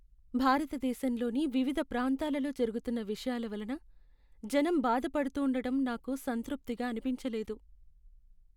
భారతదేశంలోని వివిధ ప్రాంతాలలో జరుగుతున్న విషయాల వలన జనం బాధపడుతూండటం నాకు సంతృప్తిగా అనిపించలేదు.